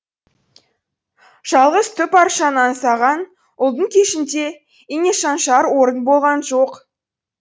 жалғыз түп аршаны аңсаған ұлдың кешінде инешаншар орын болған жоқ